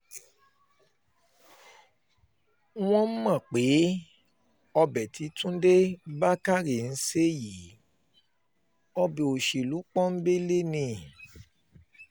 wọ́n um mọ̀ pé ọbẹ̀ tí túnde túnde bákárẹ́ ń ṣe yí ọbẹ̀ òṣèlú pọ́ńńbélé um ni